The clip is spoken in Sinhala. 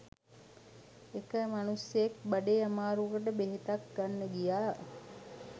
එක මණුස්සයෙක් බඩේ අමාරුවකට බෙහෙතක් ගන්න ගියා